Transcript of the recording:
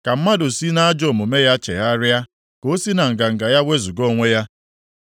ka mmadụ si nʼajọ omume ya chegharịa, ka o si na nganga ya wezuga onwe ya,